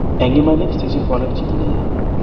eng' iman sikchni kowalaka chito ne ya